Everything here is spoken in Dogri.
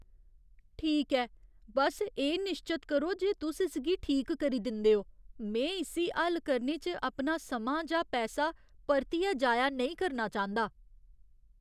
ठीक ऐ, बस्स एह् निश्चत करो जे तुस इसगी ठीक करी दिंदे ओ। में इस्सी हल्ल करने च अपना समां जां पैसा परतियै जाया नेईं करना चांह्दा।